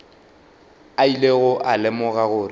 a ilego a lemoga gore